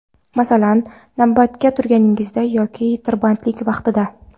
Masalan, navbatga turganingizda yoki tirbandlik vaqtida.